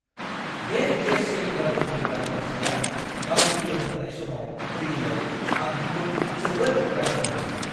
बे gas cylinder होफैग्रा हौवासाया गाव फैनो होन्नाय समाव फैयैआव आं बिखौ जोबोद रागा जोंदोंमोन।